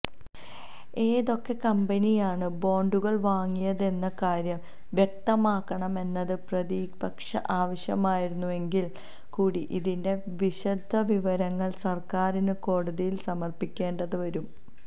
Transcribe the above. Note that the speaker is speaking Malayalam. ഏതൊക്കെ കമ്പനിയാണ് ബോണ്ടുകള് വാങ്ങിയതെന്ന കാര്യം വ്യക്തമാക്കണമെന്നത് പ്രതിപക്ഷ ആവശ്യമായിരുന്നെങ്കില് കൂടി ഇതിന്റെ വിശദവിവരങ്ങള് സര്ക്കാരിന് കോടതിയില് സമര്പ്പിക്കേണ്ടിവരും